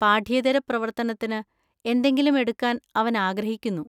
പാഠ്യേതര പ്രവർത്തനത്തിന് എന്തെങ്കിലും എടുക്കാൻ അവൻ ആഗ്രഹിക്കുന്നു.